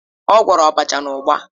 Ọ gwọrọ abacha na ugba.